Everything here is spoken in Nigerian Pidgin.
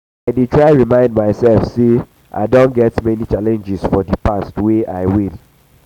i dey try remind myself say i don get many challenges for di past wey i win.